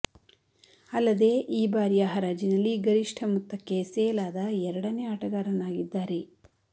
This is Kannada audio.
ಅಲ್ಲದೆ ಈ ಬಾರಿಯ ಹರಾಜಿನಲ್ಲಿ ಗರಿಷ್ಠ ಮೊತ್ತಕ್ಕೆ ಸೇಲ್ ಆದ ಎರಡನೇ ಆಟಗಾರನಾಗಿದ್ದಾರೆ